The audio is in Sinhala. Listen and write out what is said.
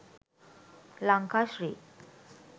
lanka sri